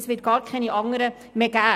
es wird keine anderen mehr geben.